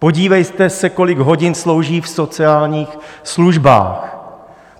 Podívejte se, kolik hodin slouží v sociálních službách.